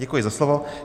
Děkuji za slovo.